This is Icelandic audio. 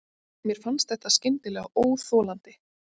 Mér fannst þetta skyndilega óþolandi.